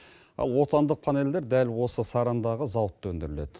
ал отандық панельдер дәл осы сарандағы зауытта өндіріледі